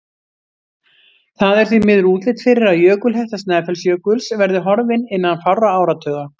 Það er því miður útlit fyrir að jökulhetta Snæfellsjökuls verði horfin innan fárra áratuga.